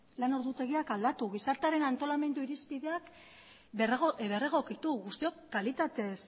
lan ordutegiak aldatu gizartearen antolamendu irizpideak berregokitu guztiok kalitatez